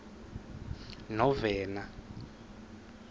novena